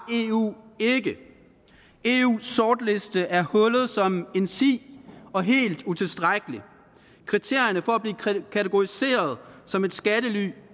eu ikke eus sortliste er hullet som en si og helt utilstrækkelig kriterierne for at blive kategoriseret som et skattely